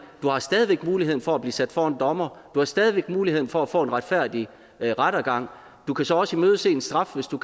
du har stadig væk muligheden for at blive stillet for en dommer du har stadig væk muligheden for at få en retfærdig rettergang du kan så også imødese en straf hvis du